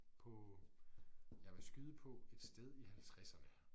På jeg vil skyde på et sted i halvtredserne